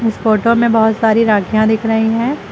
Photo में बहोत सारी राखियां दिख रही हैं।